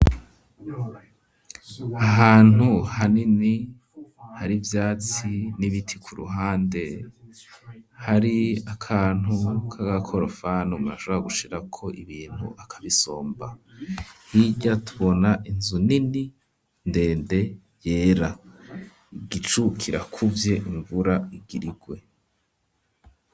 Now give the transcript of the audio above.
Ahantu hanini hari ivyatsi n'ibiti ku ruhande hari akantu k'agakorofani umuntu ashobora gushirako ibintu akabisomba hirya tubona inzu nini ndende yera igicu kira kuvye invura igirirwe.